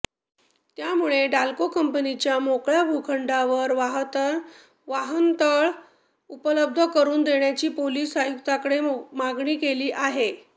त्यामुळे डाल्को कंपनीच्या मोकळ्या भूखंडावर वाहतनतळ उपलब्ध करुन देण्याची पोलीस आयुक्तांकडे मागणी केली आहे